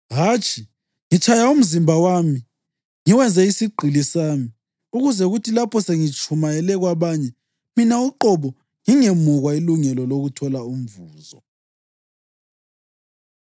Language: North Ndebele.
Hatshi, ngitshaya umzimba wami ngiwenze isigqili sami ukuze kuthi lapho sengitshumayele kwabanye, mina uqobo ngingemukwa ilungelo lokuthola umvuzo.